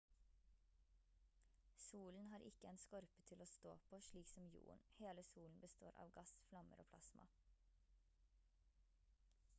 solen har ikke en skorpe til å stå på slik som jorden hele solen består av gass flammer og plasma